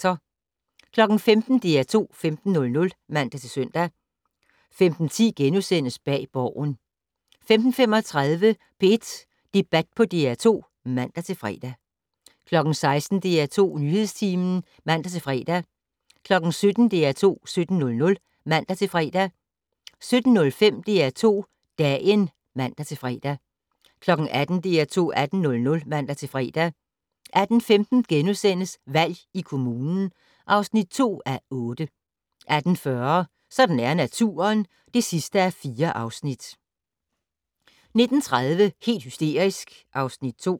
15:00: DR2 15:00 (man-søn) 15:10: Bag Borgen * 15:35: P1 Debat på DR2 (man-fre) 16:00: DR2 Nyhedstimen (man-fre) 17:00: DR2 17:00 (man-fre) 17:05: DR2 Dagen (man-fre) 18:00: DR2 18:00 (man-fre) 18:15: Valg i kommunen (2:8)* 18:40: Sådan er naturen (4:4) 19:30: Helt hysterisk (Afs. 2)